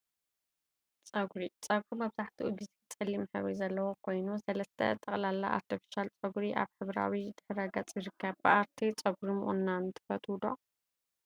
ፀጉሪ ፀጉሪ መብዛሕትኡ ግዜ ፀሊም ሕብሪ ዘለዎ ኮይኑ፤ ሰለስተ ጥቅላላ አርተፊሻል ፀጉሪ አብ ሕብራዊ ድሕረ ገፅ ይርከብ፡፡ ብአርቴ ፀጉሪ ምቁናን ትፈትው ዶ?